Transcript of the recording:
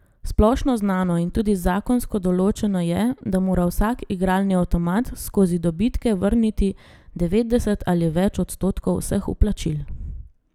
Splošno znano in tudi zakonsko določeno je, da mora vsak igralni avtomat skozi dobitke vrniti devetdeset ali več odstotkov vseh vplačil.